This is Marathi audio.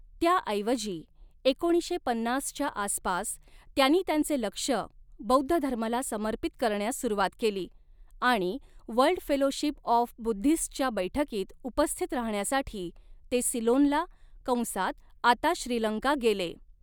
त्याऐवजी, एकोणीसशे पन्नासच्या आसपास, त्यांनी त्यांचे लक्ष बौद्ध धर्माला समर्पित करण्यास सुरुवात केली आणि वर्ल्ड फेलोशिप ऑफ बुद्धिस्टच्या बैठकीत उपस्थित राहण्यासाठी ते सिलोनला कंसात आता श्रीलंका गेले.